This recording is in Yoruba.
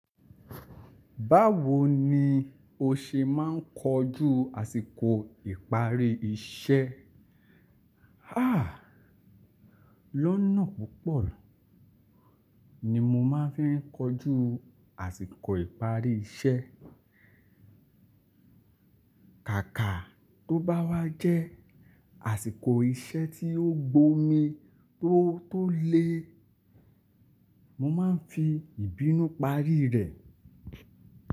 Báwo ni o ṣe máa ń kojú àsìkò ìparí iṣẹ́? Háà, lọ́nà púpọ̀ ni mo máa ń fi kojú àsìkò ìparí iṣẹ́. Kàkà tó bá wá jẹ́ àsìkò iṣẹ́ tí ó gbómi tó tó le, mo máa ń fi ìbínú parí rẹ̀